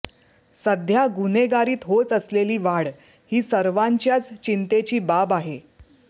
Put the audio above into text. सध्या गुन्हेगारीत होत असलेली वाढ ही सर्वांच्याच चिंतेची बाब आहे